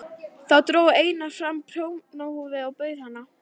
Þá dró Einar fram prjónahúfu og bauð hana.